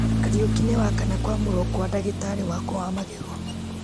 kariũki nĩ wakana kwamũrwo kwa ndagĩtarĩ wakwa wa magego